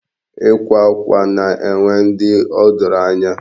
Ikwa akwa na-enwe ndị o doro anya.